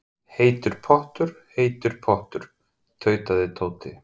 Heitur pottur, heitur pottur. tautaði Tóti.